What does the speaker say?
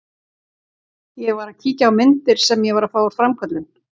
Ég var að kíkja á myndir sem ég var að fá úr framköllun.